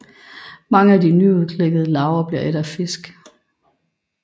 Mange af de nyudklækkede larver bliver ædt af fisk